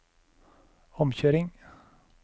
omkjøring